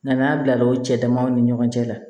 N'an y'a bila o cɛ damaw ni ɲɔgɔn cɛ la